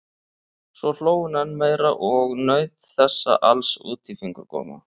Svo hló hún enn meira og naut þessa alls út í fingurgóma.